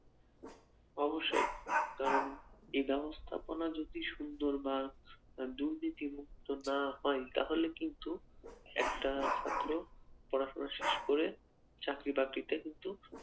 অবশ্যই কারণ এই ব্যবস্থাপনা যদি সুন্দর বা দুর্নীতিমুক্ত না হয় তাহলে কিন্তু একটা ছাত্র পড়াশোনা শেষ করে চাকরি বাকরিতে কিন্তু